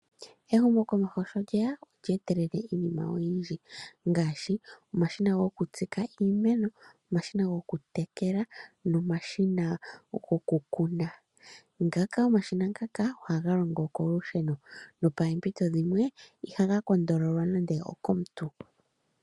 Ehumokomeho sho lye ya olya etelela iinima oyindji ngaashi: omashina gokutsika iimeno, omashina gokutekela nomashina gokukuna. Omashina ngaka ohaga longo kolusheno, nopoompito dhimwe ihaga tonatelwa nande okomuntu